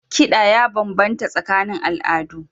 Kiɗa ya bambanta tsakanin al'adu.